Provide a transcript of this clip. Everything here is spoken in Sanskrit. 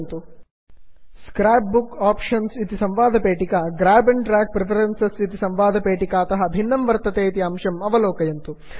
scrap book options scrap book option इति संवादपेटिकायां grab and drag preferences grab and drag preference इति संवादपेटिकातः भिन्नं वर्तते इति अंशम् अवलोकयन्तु